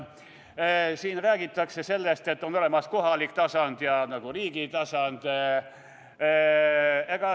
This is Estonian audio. Siin räägitakse sellest, et on olemas kohalik tasand ja riigi tasand.